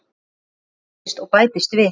Það bætist og bætist við.